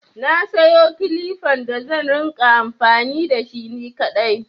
Na sayo kilifan da zan rinƙa amfani da shi ni kaɗai.